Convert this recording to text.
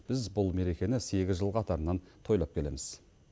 біз бұл мерекені сегіз жыл қатарынан тойлап келеміз